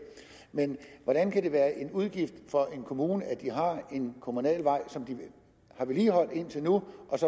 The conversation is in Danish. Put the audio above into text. men hvordan kan det være en udgift for en kommune at de har en kommunal vej som de har vedligeholdt indtil nu